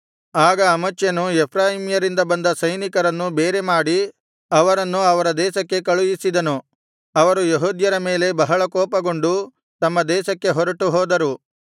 ಆಗ ಅಮಚ್ಯನು ಎಫ್ರಾಯೀಮ್ಯ ರಿಂದ ಬಂದ ಸೈನಿಕರನ್ನು ಬೇರೆ ಮಾಡಿ ಅವರನ್ನು ಅವರ ದೇಶಕ್ಕೆ ಕಳುಹಿಸಿದನು ಅವರು ಯೆಹೂದ್ಯರ ಮೇಲೆ ಬಹಳ ಕೋಪಗೊಂಡು ತಮ್ಮ ದೇಶಕ್ಕೆ ಹೊರಟು ಹೋದರು